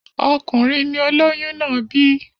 Ọkùnrin ni olôyún náà bí.